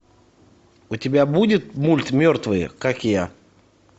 у тебя будет мульт мертвые как я